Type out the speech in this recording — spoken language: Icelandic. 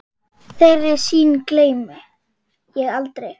Þeirri sýn gleymi ég aldrei.